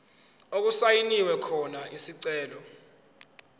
okusayinwe khona isicelo